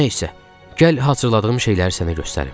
Nə isə, gəl hazırladığım şeyləri sənə göstərim.